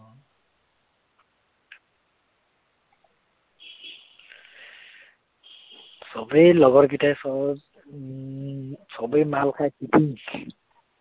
সবেই লগৰ গিটাই সবউম সবেই মাল খাই ফিটিং